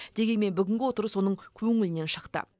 дегенмен бүгінгі отырыс оның көңілінен шықты